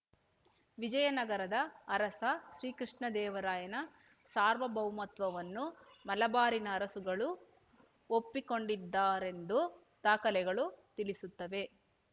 ವಿಜಯನಗರದ ಅರಸ ಶ್ರೀ ಕೃಷ್ಣದೇವರಾಯನ ಸಾರ್ವಭೌಮತ್ವವನ್ನು ಮಲಬಾರಿನ ಅರಸುಗಳು ಒಪ್ಪಿಕೊಂಡಿದ್ದಾರೆಂದು ದಾಖಲೆಗಳು ತಿಳಿಸುತ್ತವೆ